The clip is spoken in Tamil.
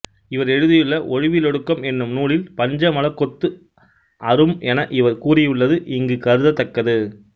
இவர் எழுதியுள்ள ஒழிவிலொடுக்கம் என்னும் நூலில் பஞ்ச மலக் கொத்து அறும் என இவர் கூறியுள்ளது இங்குக் கருதத் தக்கது